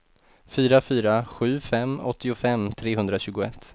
fyra fyra sju fem åttiofem trehundratjugoett